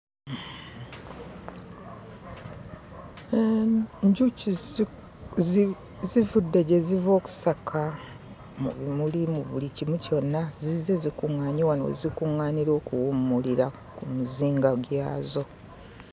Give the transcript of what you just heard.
Enjuki zivudde gye ziva okusaka mu bimuli, mu buli kimu kyonna. Zizze zikuŋŋaanye wano we zikuŋŋaanira okuwummulira ku mizinga gyazo.